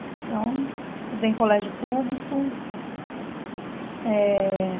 Então, estudei em colégio público eh.